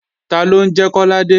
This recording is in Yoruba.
Taló ń jẹ́ Kọ́ládé?